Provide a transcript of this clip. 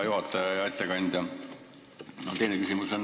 Aitäh, hea juhataja!